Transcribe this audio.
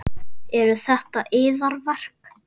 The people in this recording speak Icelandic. Eru þetta yðar verk?